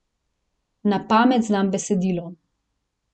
Na pamet znam besedilo.